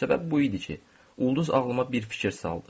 Səbəb bu idi ki, ulduz ağlıma bir fikir saldı.